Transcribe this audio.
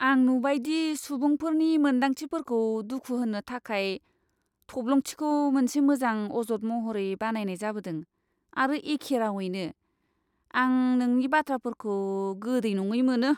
आं नुबाय दि सुबुंफोरनि मोन्दांथिफोरखौ दुखु होनो थाखाय थब्लंथिखौ मोनसे मोजां अजद महरै बाहायनाय जाबोदों आरो एखे रावैनो, आं नोंनि बाथ्राफोरखौ गोदै नङै मोनो।